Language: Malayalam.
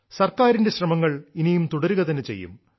സർക്കാരിന്റെ ശ്രമങ്ങൾ ഇനിയും തുടരുക തന്നെ ചെയ്യും